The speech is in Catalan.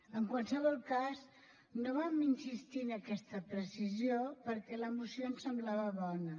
en qualsevol cas no vam insistir en aquesta precisió perquè la moció ens semblava bona